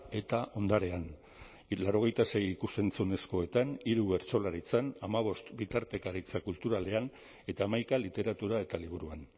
eta ondarean laurogeita sei ikus entzunezkoetan hiru bertsolaritzan hamabost bitartekaritza kulturalean eta hamaika literatura eta liburuan